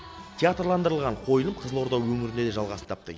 театрландырылған қойылым қызылорда өңірінде де жалғасын тапты